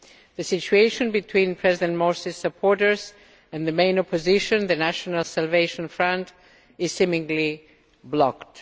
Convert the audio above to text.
The situation between President Morsi's supporters and the main opposition, the National Salvation Front, is seemingly blocked.